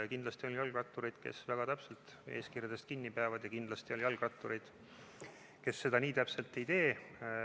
Kindlasti on jalgrattureid, kes väga täpselt eeskirjast kinni peavad, ja kindlasti on jalgrattureid, kes seda nii täpselt ei tee.